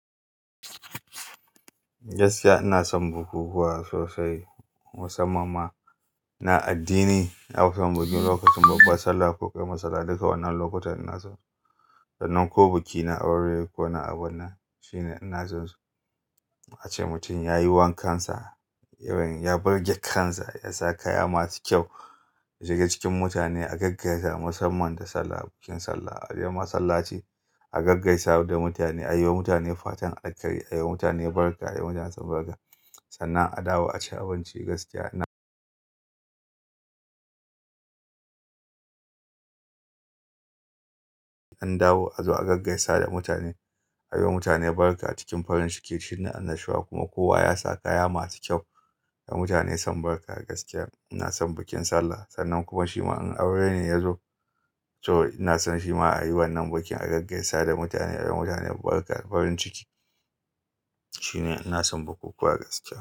Gaskiya ina son bukukuwa sosai, musamman ma na addini. Na fi son bikin lokacin babbnr sallah ko ƙaramar sallah. Duka wannan lokutan ina son su. Sannan ko biki na aure ko na abunnan shine ina son su ace mutum ya yi wankansa, irin ya birge kansa, ya sa kaya masu kyau ya shiga cikin mutane a gaggaisa musamman da sallah bikin sallah. A je masallaci a gaggaisa da mutane, a yi wa mutane fatan alheri, a yi wa mutane barka, a yi wa mutane san barka. Sannan a dawo a ci abinci gaskiya ina. An dawo a zo a gaggaisa da mutane, a yi wa mutane barka cikin farin ciki shine annashuwa kuma kowa ya sa kaya masu kyau da mutane san barka. Gaskiya ina son bikin sallah. Sannan kuma shima in aure ne ya zo to ina son shi ma a yi wannan bikin a gaggaisa da mutane, a yi wa mutane barka farin ciki shine ina son bukukuwa gaskiya.